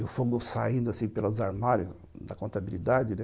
E o fogo saindo assim pelos armários da contabilidade, né?